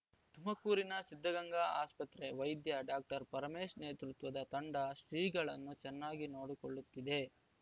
ತುಮಕೂರಿನ ಸಿದ್ಧಗಂಗಾ ಆಸ್ಪತ್ರೆ ವೈದ್ಯ ಡಾಕ್ಟರ್ ಪರಮೇಶ್‌ ನೇತೃತ್ವದ ತಂಡ ಶ್ರೀಗಳನ್ನು ಚೆನ್ನಾಗಿ ನೋಡಿಕೊಳ್ಳುತ್ತಿದೆ